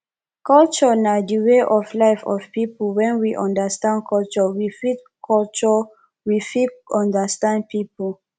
culture na di way of life of pipo when we understand culture we fit culture we fit understand pipo